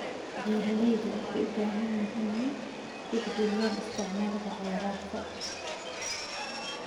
Beeraleydu waxay u baahan yihiin inay tixgeliyaan isticmaalka kheyraadka.